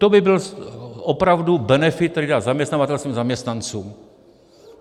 To by byl opravdu benefit, který dá zaměstnavatel svým zaměstnancům.